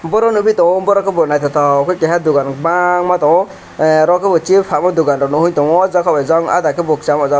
boro nugui tongo borok ke bo nythotok ke dugan bang ma tongo oro ke bo chips falma dugan o njugui tongo ah jaga ke Jon chama jaga ke.